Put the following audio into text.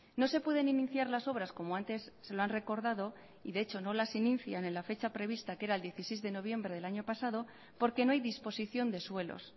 no se pueden iniciar las obras como antes se lo han recordado y de hecho no las inician en la fecha prevista que era el dieciséis de noviembre del año pasado porque no hay disposición de suelos